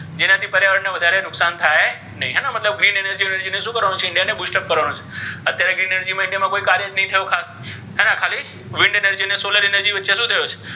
જેનાથી પર્યાવરણ ને વધારે નુકશાન થાય નહી હે ને મતલબ green energy વેનર્જી ને શુ કરવાનુ છે india ને full stop કરવાનુ છે અત્યારે green energy મા કોઇ કાર્ય જ નહી થ્યુ ખાસ હે ને ખાલી green energy અને solar energy વચ્ચૅ શુ થયુ છે.